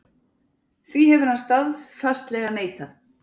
Því hefur hann staðfastlega neitað